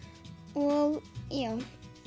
og já